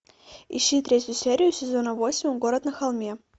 ищи третью серию сезона восемь город на холме